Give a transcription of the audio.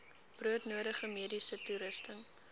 broodnodige mediese toerusting